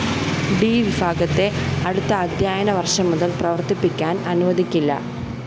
D വിഭാഗത്തെ അടുത്ത അദ്ധ്യയന വര്‍ഷം മുതല്‍ പ്രവര്‍ത്തിക്കാന്‍ അനുവദിക്കില്ല